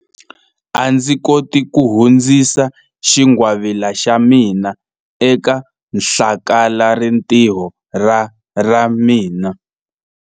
A ndzi koti ku hundzisa xingwavila xa mina eka hlakalarintiho ra ra mina.